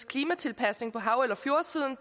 klimatilpasning på hav eller fjordsiden